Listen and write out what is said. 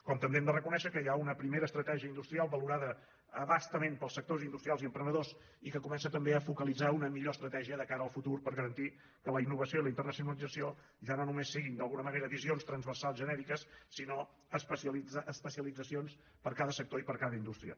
com també hem de reconèixer que hi ha una primera estratègia industrial valorada a bastament pels sectors industrials i emprenedors i que comença també a focalitzar una millor estratègia de cara al futur per garantir que la innovació i la internacionalització ja no només siguin d’alguna manera visions transversals genèriques sinó especialitzacions per a cada sector i per a cada indústria